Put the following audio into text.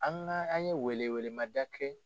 An ka an ye welewelemada kɛ